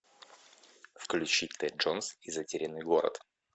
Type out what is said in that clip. включи тэд джонс и затерянный город